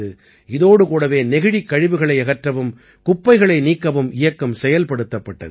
இதோடு கூடவே நெகிழிக் கழிவுகளை அகற்றவும் குப்பைகளை நீக்கவும் இயக்கம் செயல்படுத்தப்பட்டது